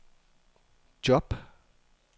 job